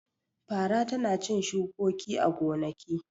Fara tana cin shukoki a gonaki.